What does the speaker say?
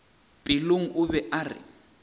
pelong o be a re